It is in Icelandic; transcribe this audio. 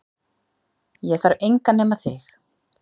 Ég þarf engan nema þig